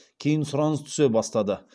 кейін сұраныс түсе бастады